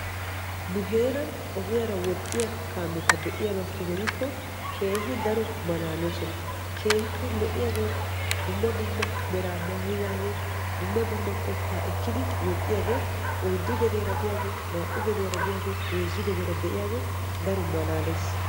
nu heeran ogiyaara woxxiya kaameta be'iyaabakeena gidikko keehi daro malalloosona, dumma dumma meraa maayidaageeti dumma dumma qotta ekkidi woxxiyaage oyddu gediyaara diyaagee, naa''u geddiyaara diyaage heezzu gediyaara de'iyaage daro malaalees.